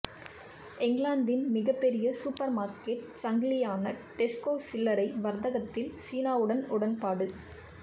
இங்கிலாந்தின் மிகப்பெரிய supermarket சங்கிலியான டெஸ்கோ சில்லறை வர்த்தகத்தில் சீனாவுடன் உடன்பாடு